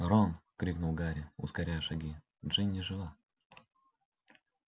рон крикнул гарри ускоряя шаги джинни жива